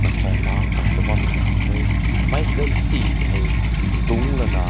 mansai meng kap lao bam mai ha weh mai gai sei hai dünk la na.